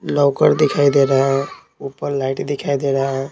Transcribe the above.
Locker दिखाई दे रहा है ऊपर लाइट दिखाई दे रहा है।